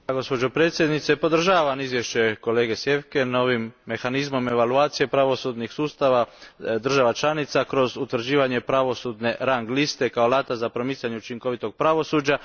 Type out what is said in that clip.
Poštovana predsjednice, podržavam izvješće kolege Zwiefka na ovim mehanizmom evaluacije pravosudnih sustava država članica kroz utvrđivanje pravosudne rang liste kao alata za promicanje učinkovitog pravosuđa.